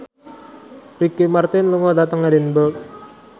Ricky Martin lunga dhateng Edinburgh